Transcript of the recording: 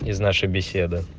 из нашей беседы